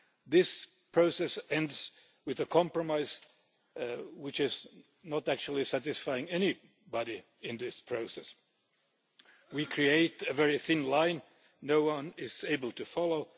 This process ends with a compromise which does not actually satisfy anybody in this process. We create a very thin line no one is able to follow